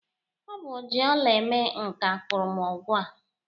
Ọ bụ oji ọla eme nka kpụrụm ọgụ a